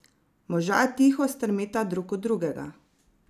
Moža tiho strmita drug v drugega.